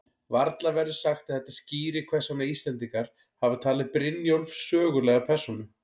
Varla verður sagt að þetta skýri hvers vegna Íslendingar hafa talið Brynjólf sögulega persónu.